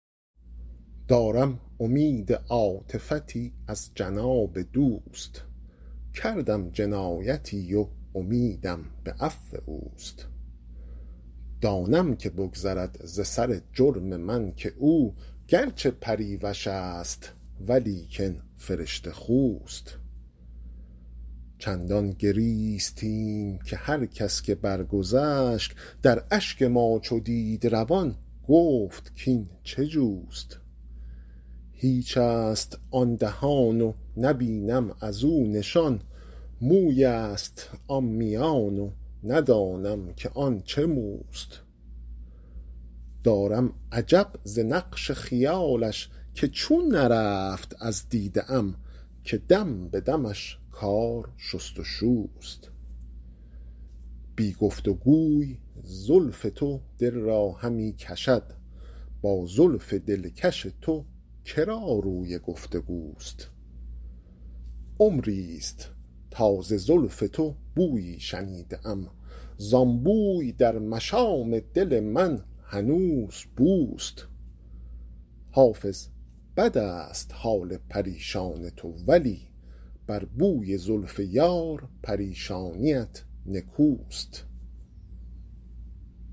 دارم امید عاطفتی از جناب دوست کردم جنایتی و امیدم به عفو اوست دانم که بگذرد ز سر جرم من که او گر چه پریوش است ولیکن فرشته خوست چندان گریستیم که هر کس که برگذشت در اشک ما چو دید روان گفت کاین چه جوست هیچ است آن دهان و نبینم از او نشان موی است آن میان و ندانم که آن چه موست دارم عجب ز نقش خیالش که چون نرفت از دیده ام که دم به دمش کار شست و شوست بی گفت و گوی زلف تو دل را همی کشد با زلف دلکش تو که را روی گفت و گوست عمری ست تا ز زلف تو بویی شنیده ام زان بوی در مشام دل من هنوز بوست حافظ بد است حال پریشان تو ولی بر بوی زلف یار پریشانیت نکوست